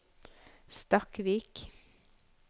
Stakkvik